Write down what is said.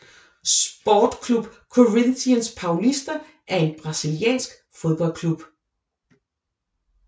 Sport Club Corinthians Paulista er en brasiliansk fodboldklub